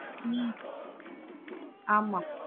mentality வந்துரும். அதுக்காக தான்